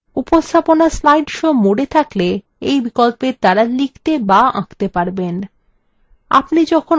উপস্থাপনা slide show mode থাকলে এই বিকল্পের দ্বারা লিখতে বা আঁকতে পারবেন